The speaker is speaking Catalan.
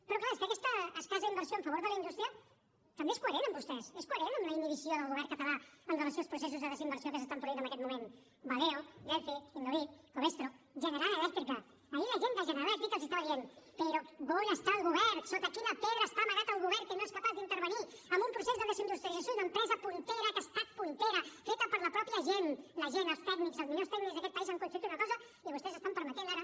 però clar és que aquesta escassa inversió en favor de la indústria també és coherent amb vostès és coherent amb la inhibició del govern català amb relació als processos de desinversió que s’estan produint en aquest moment valeo delphi innovit covestro general elèctrica ahir la gent de general elèctrica els estava dient però on està el go vern sota quina pedra està amagat el govern que no és capaç d’intervenir en un procés de desindustrialització d’una empresa puntera que ha estat puntera feta per la mateixa gent la gent els tècnics els millors tècnics d’aquest país han construït una cosa i vostès estan permetent ara